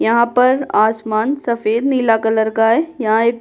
यहाँ पर आसमान सफेद-नीला कलर का है यहाँ एक --